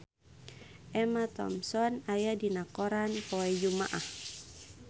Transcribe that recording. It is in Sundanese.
Emma Thompson aya dina koran poe Jumaah